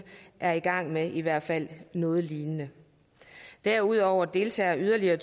er i gang med i hvert fald noget lignende derudover deltager yderligere